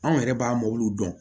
Anw yɛrɛ b'a dɔn